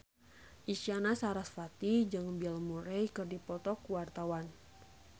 Isyana Sarasvati jeung Bill Murray keur dipoto ku wartawan